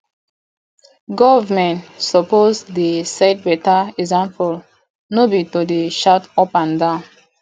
government suppose dey set beta example no be to dey shout up and down